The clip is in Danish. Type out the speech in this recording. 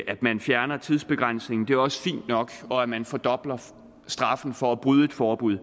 at man fjerner tidsbegrænsningen er også fint nok og at man fordobler straffen for at bryde et forbud